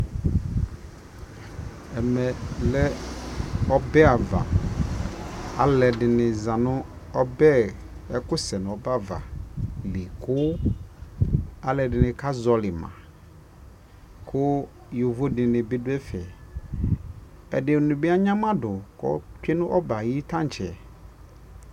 ɛmɛ lɛ ɔbɛ aɣa, alʋɛdini zanʋ ɔbɛ, ɛkʋ sɛnʋ ɔbɛ aɣa li kʋ alʋɛdini ka zɔli ma kʋ yɔvɔ dini bi dʋ ɛƒɛ, ɛdinibi anyama dʋ kʋ ɔtwɛ nʋ ɔbɛ ayi tankyɛ